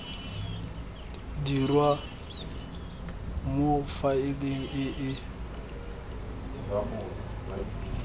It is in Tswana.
dirwa mo faeleng e e